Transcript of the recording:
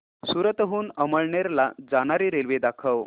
सूरत हून अमळनेर ला जाणारी रेल्वे दाखव